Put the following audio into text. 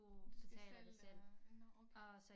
Du skal selv øh nåh okay